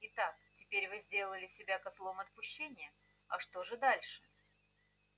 итак теперь вы сделали себя козлом отпущения а что же дальше